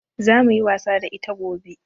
Zamuyi wasa da ita gobe